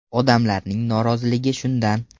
Odamlarning noroziligi shundan.